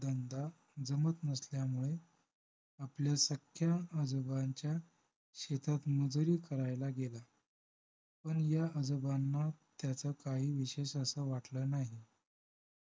धंदा जमत नसल्यामुळे आपल्या सख्या आजोबांच्या शेतात मजुरी करायला गेला पण या आजोबांना त्याचं काही विशेष असं वाटलं नाही